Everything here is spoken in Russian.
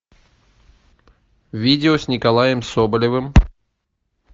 видео с николаем соболевым